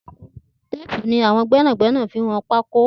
Téèpù ni awọn gbẹnágbẹná fi n wọn pákó